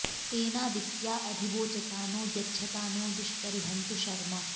तेना॑दित्या॒ अधि॑ वोचता नो॒ यच्छ॑ता नो दुष्परि॒हन्तु॒ शर्म॑